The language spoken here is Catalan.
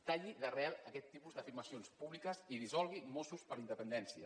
talli d’arrel aquest tipus d’afirmacions públiques i dissolgui mossos per la independència